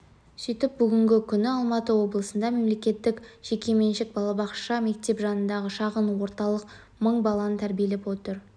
сөйтіп бүгінгі күні алматы облысында мемлекеттік жекеменшік балабақша мектеп жанындағы шағын орталық мың баланы тәрбиелеп отыр